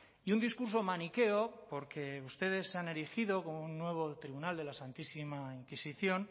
y un discurso maniqueo porque ustedes se han erigido como un nuevo tribunal de la santísima inquisición